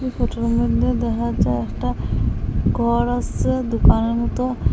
ফটোর মদ্যে দেহা যায় একটা গর আসে দোকানের মতো।